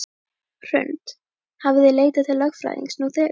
Hrund: Hafið þið leitað til lögfræðings nú þegar?